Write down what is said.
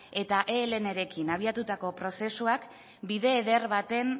eta elnrekin abiatuta prozesuak bide eder baten